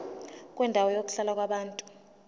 kwendawo yokuhlala yabantu